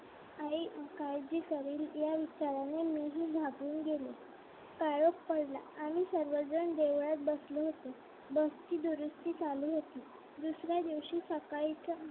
आई काळजी करेल या विचाराने मी ही घाबरून गेलो काळोख पडला आणि सगळेजण देवळात बसले होते बसची दुरुस्थी चालू होती दुसऱ्या दिवशी सकाळचं